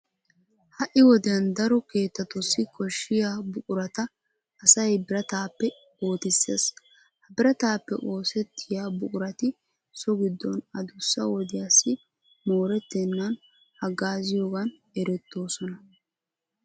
Ha"i wodiyan daro keettatussi koshshiya buqurata asay birataappe ootissees. Ha birataappe oosettiya buqurati so giddon adussa wodiyassi moorettennan haggaaziyogan erettoosona.